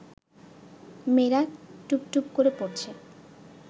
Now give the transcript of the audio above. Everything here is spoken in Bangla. মেয়েরা টুপটুপ করে পড়ছে